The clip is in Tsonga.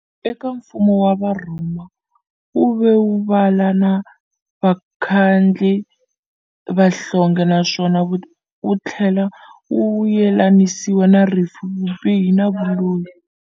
Eka mfumo wa Varhoma, wuve muvala wa vakhandli vanhlonge naswona wuthlela wu yelanisiwa na rifu, vubihi na vuloyi.